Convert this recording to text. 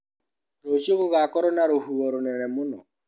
Rũcio gũgakorwo na rũhuho rũnene mũno.